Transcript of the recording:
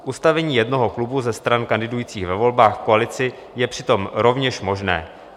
Ustavení jednoho klubu ze stran kandidujících ve volbách v koalici je přitom rovněž možné.